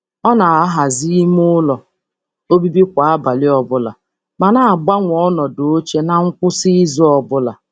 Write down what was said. Ọ na- ahazi ime ụlọ obibi kwa abalị ọbụla, ma na-agbanwe ọnọdụ oche na nkwụsị izu ọbụla.